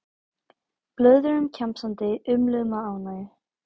Blöðruðum kjamsandi, umluðum af ánægju.